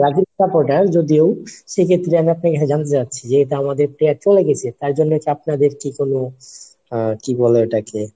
তাকে যদিও সেক্ষেত্রে আমি আপনাকে জানতে চাচ্ছি যে এটা আমাদের player চলে গেছে তার জন্য হচ্ছে আপনাদের কি কোনো কি বলে ওটাকে